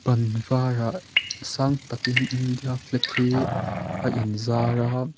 ban varah sang takin india flag hi a in zar a--